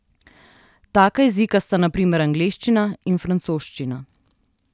Taka jezika sta na primer angleščina in francoščina.